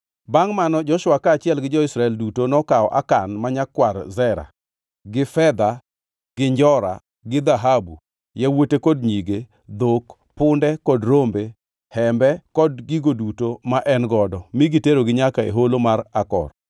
Bangʼ mano Joshua, kaachiel gi jo-Israel duto nokawo Akan ma nyakwar Zera, gi fedha, gi njora, gi dhahabu, yawuote kod nyige, dhok, punde kod rombe, hembe kod gigo duto ma en godo mi giterogi nyaka e holo mar Akor.